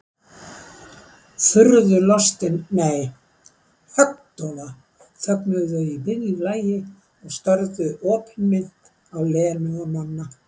Furðulostin, nei, höggdofa þögnuðu þau í miðju lagi og störðu opinmynnt á Lenu og Nonna.